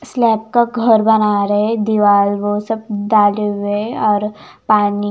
slab का घर बना रहे दीवार वो सभ डालें हुए हैं और पानी--